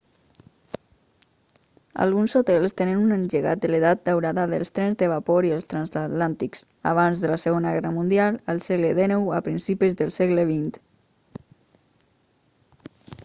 alguns hotels tenen un llegat de l'edat daurada dels trens de vapor i els transatlàntics abans de la segona guerra mundial al segle xix o a principis del segle xx